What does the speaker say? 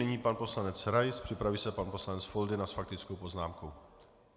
Nyní pan poslanec Rais, připraví se pan poslanec Foldyna s faktickou poznámkou.